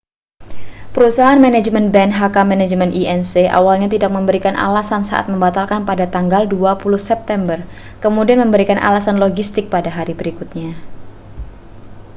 perusahaan manajemen band hk management inc awalnya tidak memberikan alasan saat membatalkan pada tanggal 20 september kemudian memberikan alasan logistik pada hari berikutnya